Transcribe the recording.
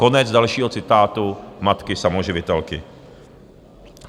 Konec dalšího citátu matky samoživitelky.